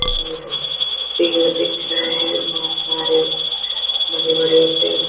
पेड़ दिख रहे है बहुत सारे बड़े-बड़े पेड़--